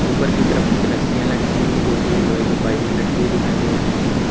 ऊपर की तरफ कुछ रस्सियां लटकी हुई है जोकि एक लोहे के पाइप में लटकी हुई दिखाई दे रही हैं।